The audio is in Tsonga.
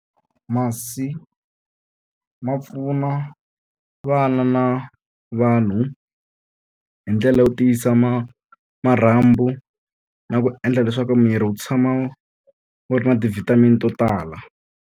Masi ma pfuna vana na vanhu hi ndlela yo tiyisa marhambu na ku endla leswaku miri wu tshama wu ri na ti-vitamin to tala.